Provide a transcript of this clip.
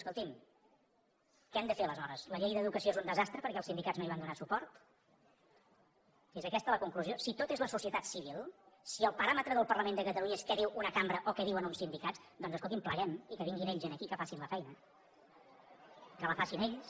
escolti’m què hem de fer aleshores la llei d’educació és un desastre perquè els sindicats no hi van donar suport és aquesta la conclusió si tot és la societat civil si el paràmetre del parlament de catalunya és què diu una cambra o que diuen uns sindicats doncs escolti’m pleguem i que vinguin ells aquí que facin la feina que la facin ells